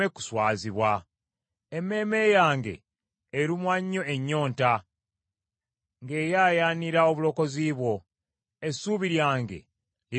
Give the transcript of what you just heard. Emmeeme yange erumwa nnyo ennyonta ng’eyaayaanira obulokozi bwo, essuubi lyange liri mu kigambo kyo.